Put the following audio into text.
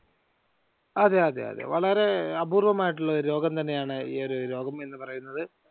അതെ അതെ അതെ. വളരെ അപൂർവമായിട്ടുള്ള ഒരു രോഗം തന്നെയാണ് ഈ ഒരു രോഗം എന്ന് പറയുന്നത്.